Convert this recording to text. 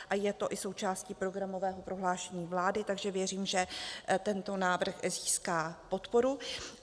A je to i součástí programového prohlášení vlády, takže věřím, že tento návrh získá podporu.